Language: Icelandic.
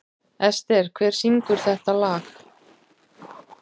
Ester, hver syngur þetta lag?